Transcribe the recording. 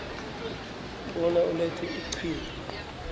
bona ulethe iqhinga